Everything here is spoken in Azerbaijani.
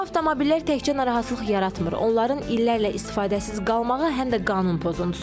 Bu avtomobillər təkcə narahatlıq yaratmır, onların illərlə istifadəsiz qalmağı həm də qanun pozuntusudur.